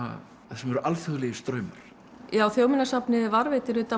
þar sem eru alþjóðlegir straumar já Þjóðminjasafnið varðveitir auðvitað